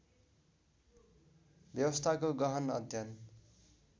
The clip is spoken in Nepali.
व्यवस्थाको गहन अध्ययन